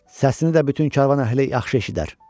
Səsini də bütün karvan əhli yaxşı eşidər.